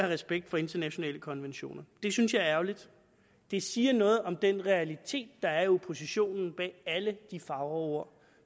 respekt for internationale konventioner det synes jeg er ærgerligt det siger noget om den realitet der er i oppositionen bag alle de fagre ord